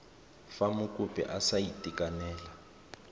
fa mokopi a sa itekanela